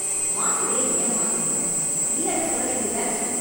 மாத்திரைய ஏன் மாத்துனீங்க? இல்லென்னு சொல்ல வேண்டியதுதான?